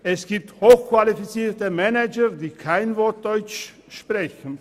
Es gibt hochqualifizierte Manager, die kein Wort Deutsch sprechen.